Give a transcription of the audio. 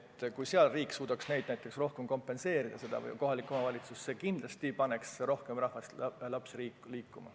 Kui riik või kohalik omavalitsus suudaks seda tegevust enam kompenseerida, paneks see kindlasti rohkem lapsi ja ka täiskasvanuid liikuma.